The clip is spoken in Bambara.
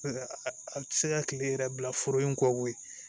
A tɛ se ka kile yɛrɛ bila foro in kɔ koyi